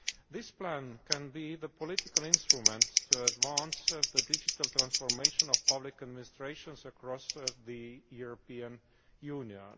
This plan can be the political instrument to advance the digital transformation of public administrations across the European Union.